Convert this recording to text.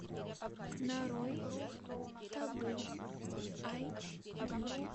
нарой табу айч ди